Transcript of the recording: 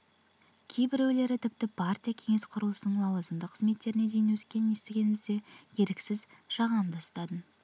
кейбіреулері тіпті партия кеңес құрылысының лауазымды қызметтеріне дейін өскенін естігенімізде еріксіз жағамды ұстадым